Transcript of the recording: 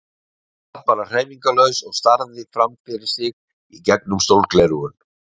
Hann sat bara hreyfingarlaus og starði fram fyrir sig í gegnum sólgleraugun.